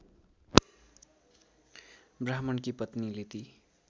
ब्राह्मणकी पत्नीले ती